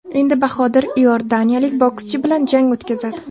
Endi Bahodir iordaniyalik bokschi bilan jang o‘tkazadi.